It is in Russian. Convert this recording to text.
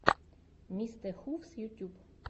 мистэхувс ютюб